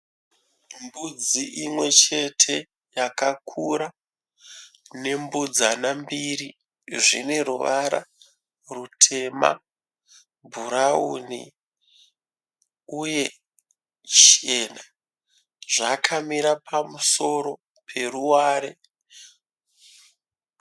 Mbudzi imwe chete yakakura nembudzana mbiri zvine ruvara rutema nebhurauni uye chena, zvakamira pamusoro peruware.